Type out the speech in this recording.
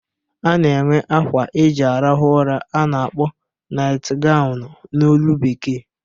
A na-enwe akwa eji arahụ ụra a na-akpọ naịt ganwụ n'olu Bekee.